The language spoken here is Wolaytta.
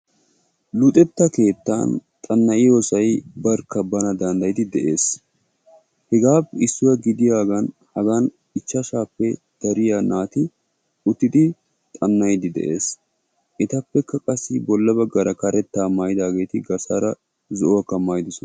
Luxetta keettaan xan'iyossay barkka bana danddayidi de'ees. Hegaa issuwa gidiyaagan hagan ichchashshappe dariya naati uttidi xanna'iidi dees. Etappekka qassi bolla baggaara karettaa maayidaageeti garssaara zo"uwakka maayiddosona.